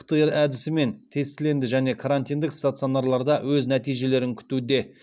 птр әдісімен тестіленді және карантиндік стационарларда өз нәтижелерін күтуде